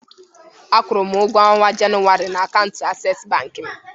A kwụụrụ m ụgwọ ọnwa Jenụwarị na akaụntụ Asess bank m.